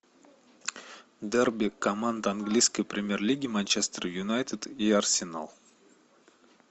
дерби команд английской премьер лиги манчестер юнайтед и арсенал